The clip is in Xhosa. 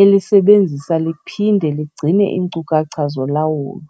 elisebenzisa liphinde ligcine iinkcukacha zolawulo.